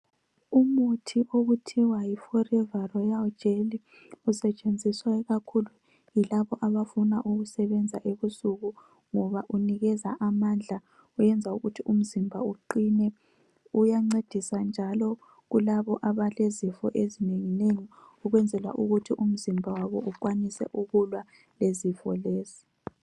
Umuthi okuthiwa Yi forever royal jelly usetshenziswa ikakhulu yilabo abafuna ukusebenza ebusuku ngoba unikeza amandla , kuyenza ukuthi umzimba uqine , uyancedisa njalo kulabo abalezifo ezinenginengi ukwenzela ukuthi umzimba wabo ukwanise ukulwa lezifo lezo